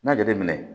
N'a jateminɛ